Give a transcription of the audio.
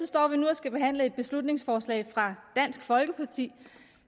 står vi nu og skal behandle et beslutningsforslag fra dansk folkeparti